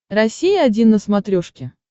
россия один на смотрешке